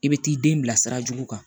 I bɛ t'i den bila sira jugu kan